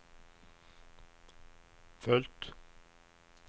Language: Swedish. fullt